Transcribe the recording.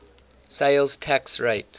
sales tax rate